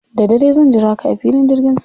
Da dare zan jira ka a filin jirgin sama.